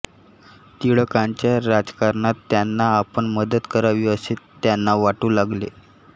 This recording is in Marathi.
टिळकांच्या राजकारणात त्यांना आपण मदत करावी असे त्यांना वाटू लागले